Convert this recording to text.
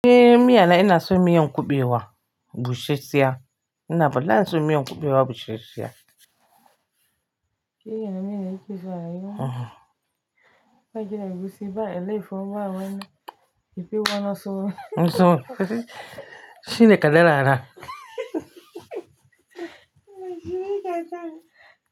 Eh miya na ina so miya in kuɓewa, busheshiya sai. Ina bala in son miyan in kuɓewa bushesheya. Shi yana miya na ke so a yiwu. Eh. Ba ji na yi musu ba, ele foɓa wane, ife wa na so. Na so. Shi ne ka dara na.